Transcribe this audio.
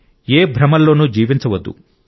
ఏ భ్రమల్లోనూ జీవించవద్దు